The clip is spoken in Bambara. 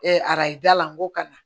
arajo da la n ko ka na